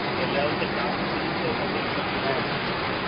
কে L Rahul কে chance দিতে দিতে ওকে একদম পুরো একদম